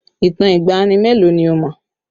Ìtàn ìgbàanì mélòó ni o mọ̀?